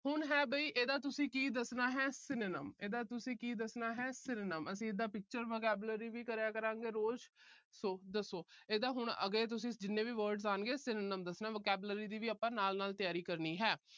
ਹੁਣ ਹੈ ਵੀ ਇਹਦਾ ਤੁਸੀਂ ਕੀ ਦੱਸਣਾ ਹੈ synonyms ਇਹਦਾ ਤੁਸੀਂ ਕੀ ਦੱਸਣਾ ਹੈ synonyms ਅਸੀਂ ਇਹਦਾ picture vocabulary ਵੀ ਕਰਿਆ ਕਰਾਂਗੇ ਰੋਜ਼। so ਦੱਸੋ ਇਹਦੇ ਹੁਣ ਅੱਗੇ ਤੁਸੀਂ ਜਿੰਨੇ ਵੀ words ਆਣਗੇ synonyms ਦੱਸਣਾ। vocabulary ਦੀ ਵੀ ਆਪਾ ਨਾਲ-ਨਾਲ ਤਿਆਰੀ ਕਰਨੀ ਹੈ।